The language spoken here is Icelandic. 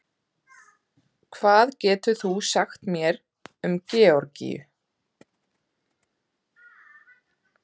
hvað getur þú sagt mér um georgíu